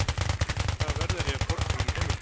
Hvaða verð er ég að borga á mínu heimili?